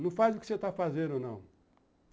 Não faz o que você está fazendo, não.